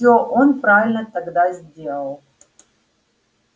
всё он правильно тогда сделал